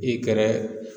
I kɛrɛ